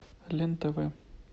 лен тв